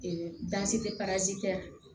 tɛ parasi tɛ